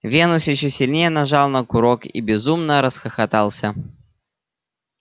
венус ещё сильнее нажал на курок и безумно расхохотался